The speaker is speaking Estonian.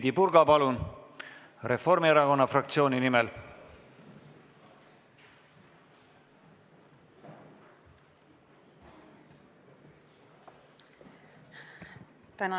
Heidy Purga Reformierakonna fraktsiooni nimel, palun!